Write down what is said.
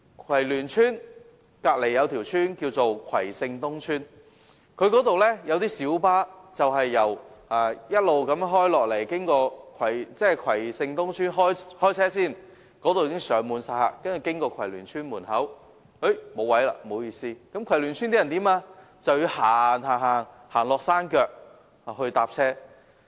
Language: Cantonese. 葵聯邨旁邊有葵盛東邨，那裏開出的小巴會經過葵聯邨，但在葵盛東邨開車時已上滿乘客，到葵聯邨時已沒有座位，葵聯邨居民只能走到山腳乘車。